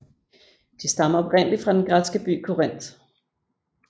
De stammer oprindelig fra den græske by Korinth